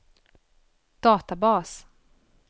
databas